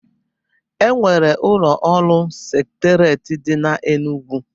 Enwere ụlọ ọrụ Seketerieti dị n'Enugwu